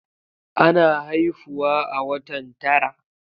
Ana haifuawa a watan tara